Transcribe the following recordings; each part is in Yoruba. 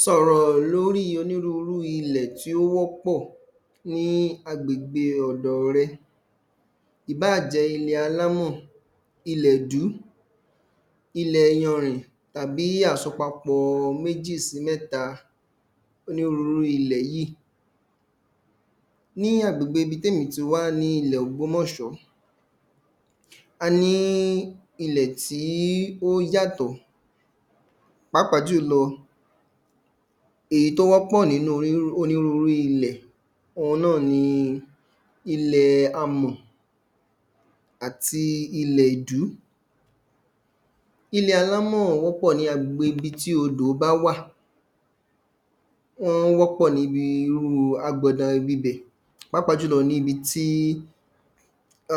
Sọ̀rọ̀ lórí onírúurú ilẹ̀ tó wọ́pọ̀ ní agbègbè rẹ. Ìbáà jẹ́ ilẹ̀ alámọ̀, ilẹ̀ dú. Ilẹ yanrìn tàbí àsopapọ méjì sí mẹ́ta. onírúurú ilẹ̀ yíì Ní agbègbè ibi témí ti wá ní ilẹ̀ ògbómọ̀sọ́ A ní ilẹ̀ tí ó yàtọ̀. Pàápàá jùlọ, èyí tó wọ́pọ̀ nínú onírúurú ilẹ̀ ohun náà ni ilẹ amọ̀ àti ilẹ̀ ìdú. Ilẹ̀ alámọ̀ wọ́pọ̀ ní agbègbe ibi tí odò bá wà. Wọ́n wọ́pọ̀ níbi irúu agbandan ibibẹ̀. Pàápàá jùlọ níbi tí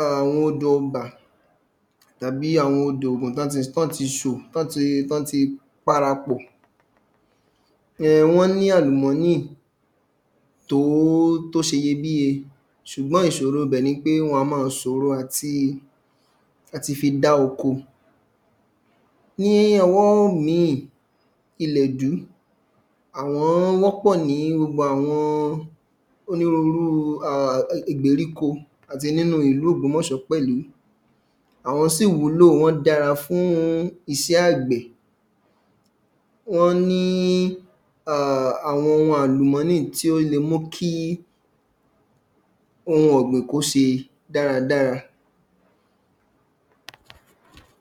àwọn odo nbà tàbí àwọn odo ògùn tọ́n ti tọ́n ti tọ́n ti para pò. Ẹhn wọ́n ní àlùmọ́nì tó tó ṣeyebíye. ṣùgbọ́n ìsòro ibẹ̀ ni pé wọn a má a sòro àti àti fi dáko. Ní ọwọ́ míì, ilẹ̀ dú àwọn wọ́pọ̀ ní gbogbo àwọn onírúurú igbèríko àti nínú ìlú Ògbómọ̀sọ́ pẹ̀lú. Àwọ́n sì wúlò wọ́n dára fún isẹ́ àgbẹ̀. Wọ́n ní um àwọn ohun àlùmọ́nì tí ó le mú kí ohun ọ̀gbìn kó se dáradára.